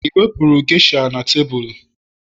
i wepụrụ geisha na tebụl